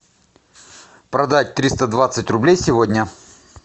продать триста двадцать рублей сегодня